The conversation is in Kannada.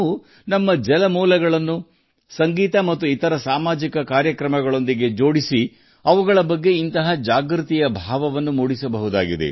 ನಮ್ಮ ಜಲಮೂಲಗಳನ್ನು ಸಂಗೀತ ಮತ್ತು ಇತರ ಸಾಮಾಜಿಕ ಕಾರ್ಯಕ್ರಮಗಳೊಂದಿಗೆ ಜೋಡಿಸುವ ಮೂಲಕ ನಾವು ಇಂತಹದೇ ರೀತಿಯ ಜಾಗೃತಿಯ ಭಾವನೆಯನ್ನು ಮೂಡಿಸಬಹುದು